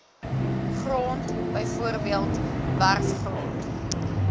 grond bv werfgrond